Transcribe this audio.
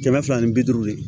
Kɛmɛ fila ni bi duuru ye